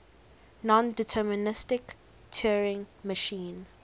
nondeterministic turing machine